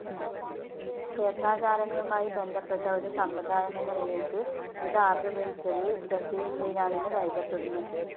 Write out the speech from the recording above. ക്ഷേത്രാചാരങ്ങളുമായി ബന്ധപ്പെട്ട ഒരു സമ്പ്രദായമെന്ന നിലയ്ക്ക് ഇത് ആവിർഭവിച്ചത് തെക്കേ ഇന്ത്യയിലാണെന്ന് കരുതപ്പെടുന്നു.